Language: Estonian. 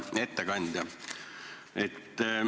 Hea ettekandja!